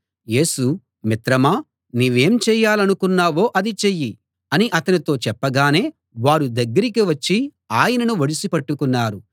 యేసు మిత్రమా నీవేం చేయాలనుకున్నావో అది చెయ్యి అని అతనితో చెప్పగానే వారు దగ్గరికి వచ్చి ఆయనను ఒడిసి పట్టుకున్నారు